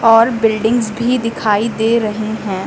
और बिल्डिंग्स भी दिखाई दे रहे हैं।